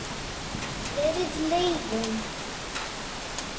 Verri leiðin.